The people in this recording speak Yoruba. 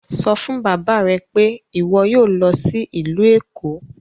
Sọ fun baba rẹ pe iwọ yoo lọ si ilu Eko!